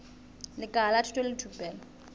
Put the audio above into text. lekala la thuto le thupelo